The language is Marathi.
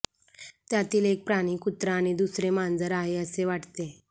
त्यातील एक प्राणी कुत्रा आणि दुसरे मांजर आहे असे वाटते